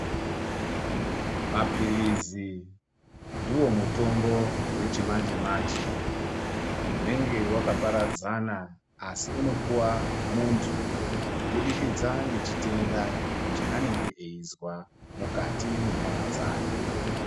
Mapilizi ndiwo mutombo wechimanje manje unenge wakaparadzana asi unopuwa muntu kubudikidza nechitenda chaanenge eizwa mukati menyama dzake.